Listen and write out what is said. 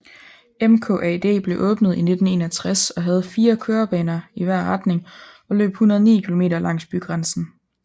MKAD blev åbnet i 1961 og havde fire kørebaner i hver retning og løb 109 km langs bygrænsen